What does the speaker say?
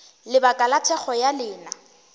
lebaka la thekgo ya lena